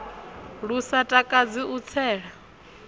lu sa takadzi u tsela